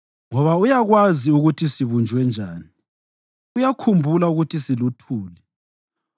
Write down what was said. ngoba uyakwazi ukuthi sibunjwe njani, uyakhumbula ukuthi siluthuli.